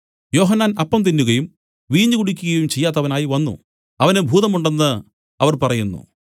യോഹന്നാൻ അപ്പം തിന്നുകയും വീഞ്ഞ് കുടിക്കുകയും ചെയ്യാത്തവനായി വന്നു അവന് ഭൂതമുണ്ടെന്ന് അവർ പറയുന്നു